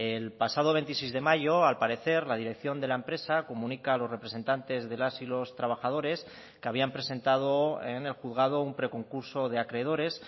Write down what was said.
el pasado veintiséis de mayo al parecer la dirección de la empresa comunica a los representantes de las y los trabajadores que habían presentado en el juzgado un preconcurso de acreedores